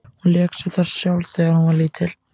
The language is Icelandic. Hún lék sér þar sjálf þegar hún var lítil.